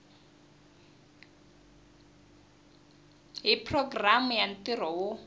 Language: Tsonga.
hi programu ya ntirho wo